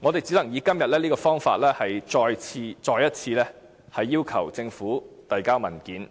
我們只能以今天這方法，再次要求政府提交相關文件。